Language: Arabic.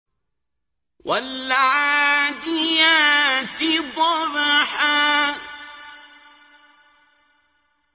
وَالْعَادِيَاتِ ضَبْحًا